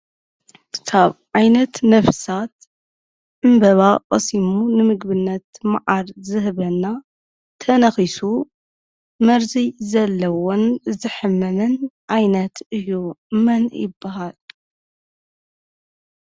ካብ ዓይነት ነፍሳት ዕምበባ ቀሲሙ ንምግብነት መዓር ዝህበና ተነኹሱ መርዚ ዘለዎን ዘሕምምን ዓይነት እዩ። መን ይበሃል ?